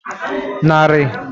nari